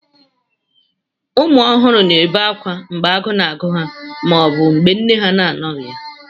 ụmụ ọhụrụ na-ebe akwa mgbe agụụ na-agụ ha ma ọ bụ mgbe nne ha na-anọghị ya